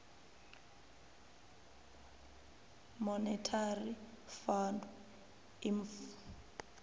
monetary fund imf